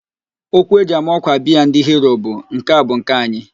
Okwu eji ama ọ́kwà biaa ndị Hiro bụ, "nke a bu nke anyị"